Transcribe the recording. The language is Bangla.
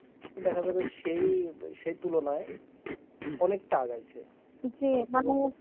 দেখা যাবে সেই সেই তুলনায় অনেকটা আগাইছে